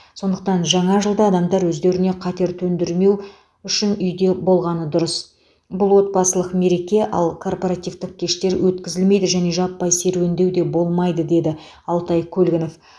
сондықтан жаңа жылда адамдар өздеріне қатер төндірмеу үшін үйде болғаны дұрыс бұл отбасылық мереке ал корпоративтік кештер өткізілмейді және жаппай серуендеу де болмайды деді алтай көлгінов